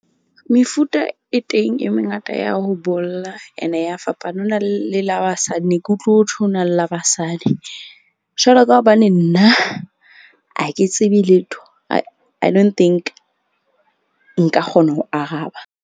Mefuta e teng e mengata ya ho bolla ene ya fapana. Ho na le la basadi ne ke utlwe ho thwe ho na le la basadi. Jwalo ka hobane nna ha ke tsebe letho, I don't think nka kgona ho araba.